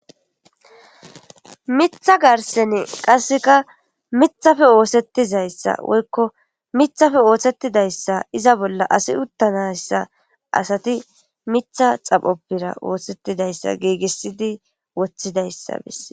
mitha garsene qasseka mithafe oosettizayssa woykko mithafe ooththettidayssa iza bolla asi uttanayssa asati mitha xaphoppira oohsettidayssa giigissidi woththidayssa bese